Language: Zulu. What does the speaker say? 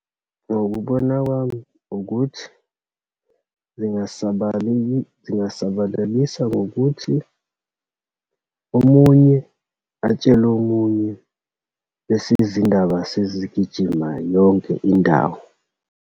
Ngokubona kwami ukuthi zingasabaleki, zingasabalalisa ngokuthi omunye atshele omunye, bese izindaba sezigijima yonke indawo.